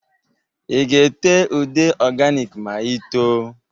I ga-ete ude ọganik ma i too?